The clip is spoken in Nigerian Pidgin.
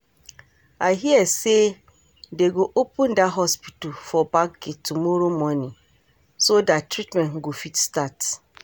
I hear say dey go open dat hospital for back gate tomorrow morning so dat treatment go fit start